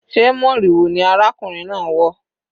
Sé moriwo ni arákùnrin náà wọ̀?